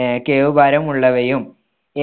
ആഹ് കേവ് ഭാരമുള്ളവയും